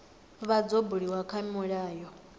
vha dzo buliwa kha milayo